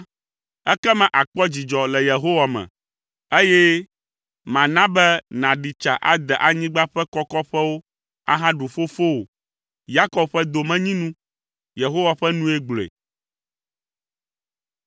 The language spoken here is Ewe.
ekema àkpɔ dzidzɔ le Yehowa me, eye mana be nàɖi tsa ade anyigba ƒe kɔkɔƒewo ahaɖu fofowò, Yakob ƒe domenyinu.” Yehowa ƒe nue gblɔe.